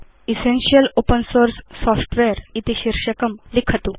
essential open source software इति इत्थं शीर्षकं परिवर्तयतु